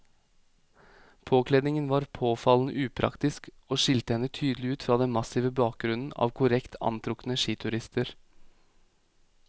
Påkledningen var påfallende upraktisk og skilte henne tydelig ut fra den massive bakgrunnen av korrekt antrukne skiturister.